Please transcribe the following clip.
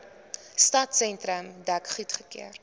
stadsentrum dek goedgekeur